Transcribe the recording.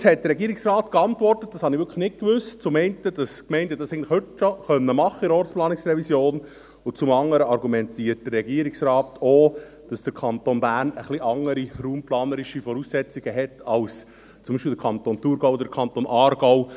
Jetzt hat der Regierungsrat zum einen geantwortet – das wusste ich wirklich nicht –, dass die Gemeinden dies eigentlich in der Ortsplanungsrevision heute schon machen können, und zum anderen argumentiert der Regierungsrat auch, dass der Kanton Bern etwas andere raumplanerische Voraussetzungen hat als zum Beispiel der Kanton Thurgau oder der Kanton Aargau.